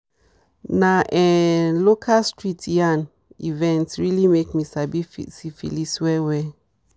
na um local street yarn events really make me sabi syphilis well well